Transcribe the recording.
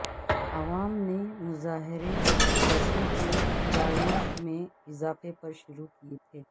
عوام نے مظاہرے بسوں کے کرایوں میں اضافے پر شروع کیے تھے